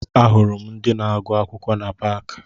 Ahụrụ m ndị na-agụ akwụkwọ na paakị